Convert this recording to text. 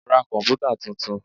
Ra komputa tuntun.